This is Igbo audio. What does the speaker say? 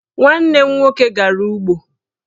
Nwanne m nwoke gara ụgbọ